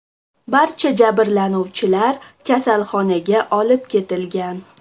Barcha jabrlanuvchilar kasalxonaga olib ketilgan.